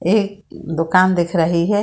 एक दुकान दिख रही है ।